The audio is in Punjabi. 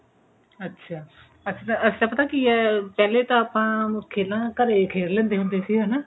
ਅੱਛਾ ਅਸੀਂ ਅਸੀਂ ਤਾਂ ਪਤਾ ਕਿ ਐ ਪਹਿਲੇ ਤਾਂ ਆਪਾਂ ਖੇਲਾਂ ਘਰੇ ਖੇਲ ਲਿੰਦੇ ਹੁੰਦੇ ਸੀ ਹਨਾ